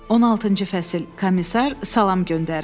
16-cı fəsil: Komissar salam göndərir.